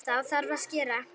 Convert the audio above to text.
Þá þarf að skera.